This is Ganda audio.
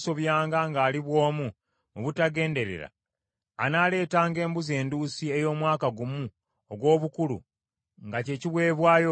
“Naye omuntu bw’anaasobyanga ng’ali bw’omu mu butagenderera, anaaleetanga embuzi enduusi ey’omwaka gumu ogw’obukulu nga kye kiweebwayo olw’ekibi.